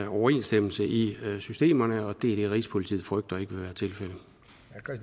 overensstemmelse i systemerne og det er det rigspolitiet frygter ikke